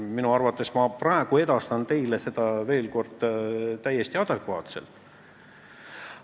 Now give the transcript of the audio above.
Enda arvates ma edastasin seda teile veel kord täiesti adekvaatselt.